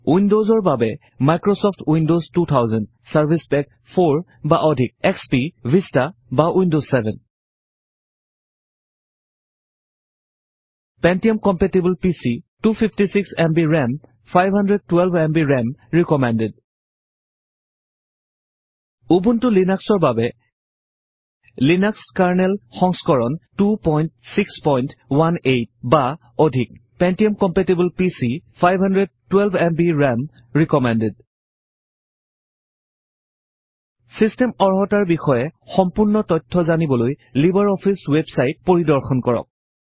উইন্ডজৰ বাবে Microsoft Windows 2000 service pack 4 বা অধিক এসপি ভিষ্টা বা Windows 7 Pentium compatible PC 256 MB RAM Ubuntu লিনাক্সৰ বাবে লিনাক্স কাৰনেল সংস্কৰণ 2618 বা অধিক Pentium compatible PC 512 MB RAM recommended system অৰ্হতাৰ বিষয়ে সম্পূৰ্ণ তথ্য জানিবলৈ লিবাৰ অফিচ ৱেব চাইট পৰিদৰ্শন কৰক